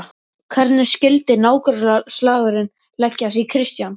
Hvernig skyldi nágrannaslagurinn leggjast í Kristján?